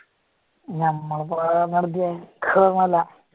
ഞമ്മളിപ്പ